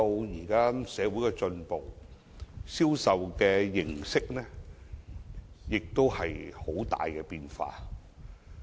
現在社會進步，銷售形式出現很大變化。